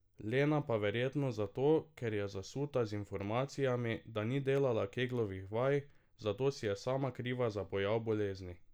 Lena pa verjetno zato, ker je zasuta z informacijami, da ni delala Keglovih vaj, zato si je sama kriva za pojav bolezni.